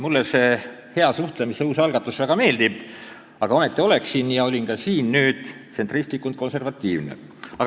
Mulle see hea suhtlemise uus algatus väga meeldib, aga ometi oleksin ja olingi nüüd tsentristlikult konservatiivne.